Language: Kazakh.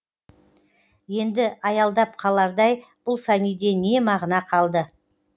енді аялдап қалардай бұл фәниде не мағына қалды